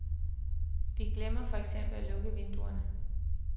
Vi glemmer for eksempel at lukke vinduerne.